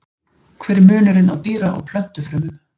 hver er munurinn á dýra og plöntufrumum